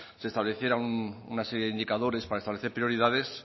se establecieran una serie de indicadores para establecer prioridades